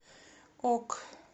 ок